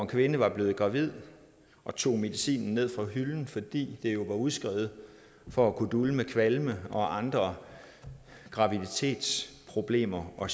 kvinde var blevet gravid og tog medicinen ned fra hylden fordi det jo var udskrevet for at kunne dulme kvalme og andre graviditetsproblemer og